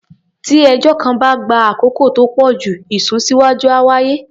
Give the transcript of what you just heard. Tí ẹjọ́ kan bá ń gba àkókò tó pọ̀ jù, ìsúnsíwá́jú á wáyé.